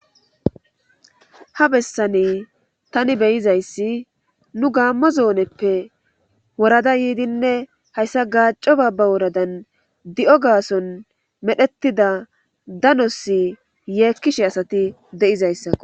Ha bessani tani beyizayssi nu gaammo zooneppe worada yiidinne hayssa gaaco baabba woradan di'o gaason medhettida danosi yeekkishe asati de'izayssako.